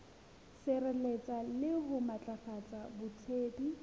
sireletsa le ho matlafatsa botsebi